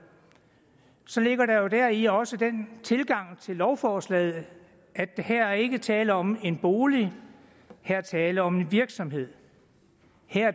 så ligger der jo deri også den tilgang til lovforslaget at her er der ikke tale om en bolig her er tale om en virksomhed